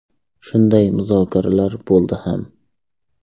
Shunday muzokaralar bo‘ldi ham.